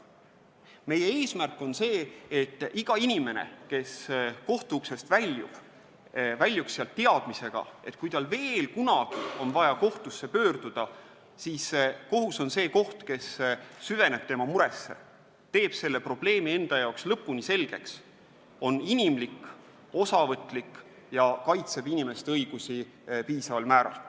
Meie eesmärk on, et iga inimene, kes kohtumaja uksest väljub, väljuks sealt teadmisega, et kui tal veel kunagi on vaja kohtusse pöörduda, siis kohus süveneb tema muresse, teeb probleemi enda jaoks lõpuni selgeks, on inimlik, osavõtlik ja kaitseb tema õigusi piisaval määral.